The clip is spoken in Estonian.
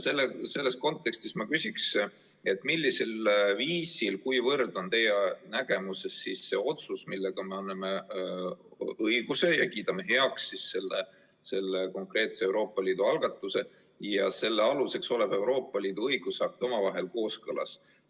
Selles kontekstis ma küsin, millisel viisil, kuivõrd on teie nägemuses see otsus, millega me kiidame heaks selle konkreetse Euroopa Liidu algatuse, ja selle aluseks olev Euroopa Liidu õigusakt omavahel kooskõlas.